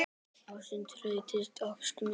Og stundum rætist ósk mín.